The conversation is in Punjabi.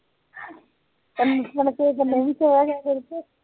ਇਕ ਦਿਨ ਸੋਯਾ ਕਹਿੰਦੇ